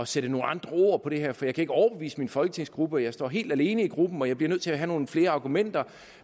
sætte nogle andre ord på det her for jeg kan ikke overbevise min folketingsgruppe jeg står helt alene i gruppen og jeg bliver nødt til at have nogle flere argumenter